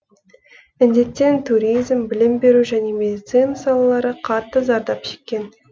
індеттен туризм білім беру және медицина салалары қатты зардап шеккен